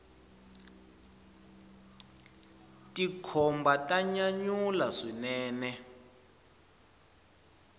tikhomba ta nyanyula swinene